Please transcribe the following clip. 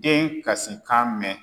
Den kasikan mɛn